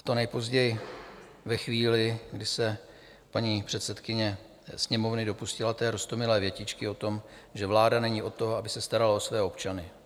A to nejpozději ve chvíli, kdy se paní předsedkyně Sněmovny dopustila té roztomilé větičky o tom, že vláda není od toho, aby se starala o své občany.